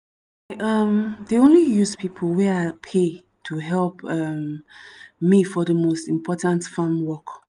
i um dey only use pipo wey i pay to help um me for de most important farm work